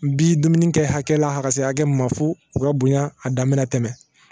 Bi dumuni kɛ hakɛ la ka se hakɛ min ma fo u ka bonya a dan mɛna tɛmɛ